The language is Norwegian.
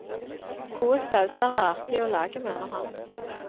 Gode sauser er artig å lage, mener han.